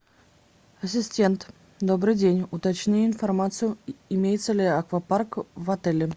ассистент добрый день уточни информацию имеется ли аквапарк в отеле